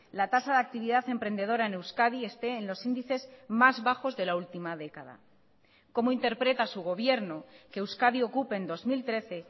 la tasa de actividad emprendedora en euskadi esté en los índices más bajos de la última década cómo interpreta su gobierno que euskadi ocupe en dos mil trece